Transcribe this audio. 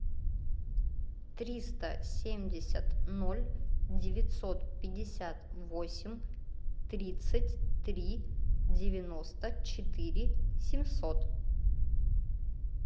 триста семьдесят ноль девятьсот пятьдесят восемь тридцать три девяносто четыре семьсот